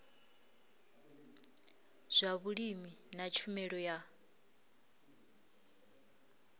zwa vhulimi na tshumelo ya